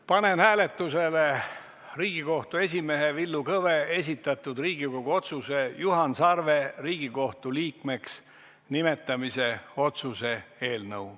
Panen hääletusele Riigikohtu esimehe Villu Kõve esitatud Riigikohtu otsuse "Juhan Sarve Riigikohtu liikmeks nimetamine" otsuse eelnõu.